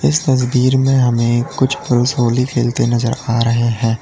इस तस्वीर में हमें कुछ पुरुष होली खेलते नजर आ रहे हैं।